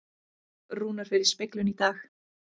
Rúnar fer í speglun í dag